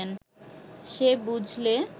সে বুঝলে